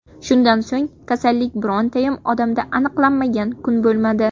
Shundan so‘ng kasallik birontayam odamda aniqlanmagan kun bo‘lmadi.